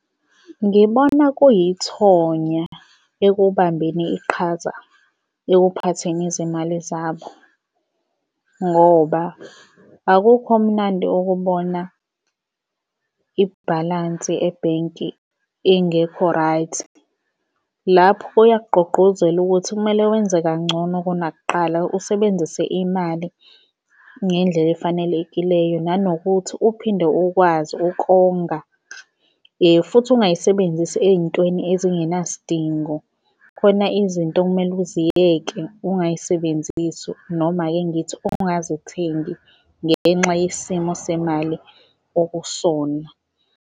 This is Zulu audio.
Ngibona kuyithonya ekubambeni iqhaza ekuphatheni izimali zabo ngoba akukho mnandi ukubona ibhalansi ebhenki ingekho right. Lapho kuyakugqugquzela ukuthi kumele wenze kangcono kunakuqala, usebenzise imali ngendlela efanelekileyo nanokuthi uphinde ukwazi ukonga futhi ungayisebenzisi ey'ntweni ezingenasidingo. Khona izinto okumele uziyeke ungay'sebenzisi noma ake ngithi ungazithengi ngenxa yesimo semali okusona.